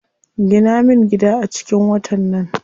Gina min gida a cikin watan nan.